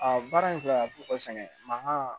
A baara in filɛ a bɛ fɔ ka saŋɛ mankan